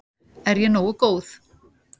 Er ég nógu góð?